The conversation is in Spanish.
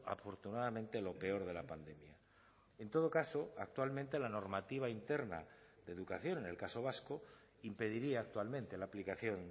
afortunadamente lo peor de la pandemia en todo caso actualmente la normativa interna de educación en el caso vasco impediría actualmente la aplicación